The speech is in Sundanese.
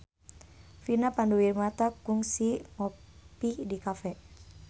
Vina Panduwinata kungsi ngopi di cafe